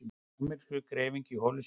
Amerískur greifingi í holu sinni.